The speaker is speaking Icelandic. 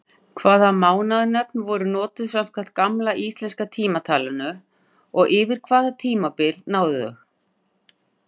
Hvaða mánaðanöfn voru notuð samkvæmt gamla íslenska tímatalinu og yfir hvaða tímabil náðu þau?